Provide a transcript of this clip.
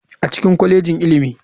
A cikin kwalejin ilimi.